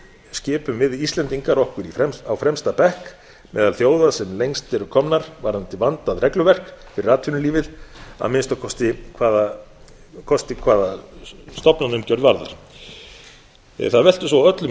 skipum við íslendingar okkur á fremsta bekk meðal þjóða sem lengst eru komnar varðandi vandað regluverk fyrir atvinnulífið að minnsta kosti hvaða kosti hvað varðar það veltur svo á öllum